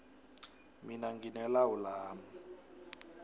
mina ngine lawu lami